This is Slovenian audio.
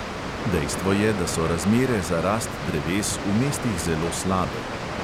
Dejstvo je, da so razmere za rast dreves v mestih zelo slabe.